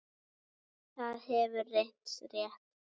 Það hefur reynst rétt.